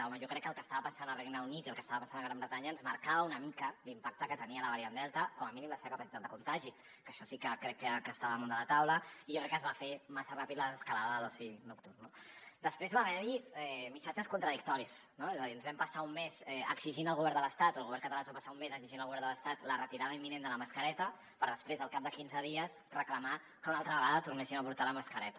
home jo crec que el que estava passant al regne unit i el que estava passant a gran bretanya ens marcava una mica l’impacte que tenia la variant delta com a mínim la seva capacitat de contagi que això sí que crec que estava damunt de la taula i jo crec que es va fer massa ràpid la desescalada de l’oci nocturn no després va haver hi missatges contradictoris no és a dir ens vam passar un mes exigint al govern de l’estat o el govern català es va passar un mes exigint al govern de l’estat la retirada imminent de la mascareta per després al cap de quinze dies reclamar que una altra vegada tornéssim a portar la mascareta